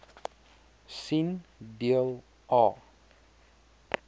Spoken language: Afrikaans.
sien deel a